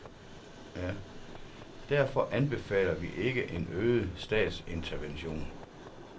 Derfor anbefalder vi ikke en øget statsintervention.